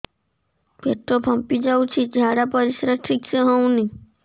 ପେଟ ଫାମ୍ପି ଯାଉଛି ଝାଡ଼ା ପରିସ୍ରା ଠିକ ସେ ହଉନି